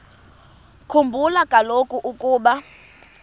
khumbula kaloku ukuba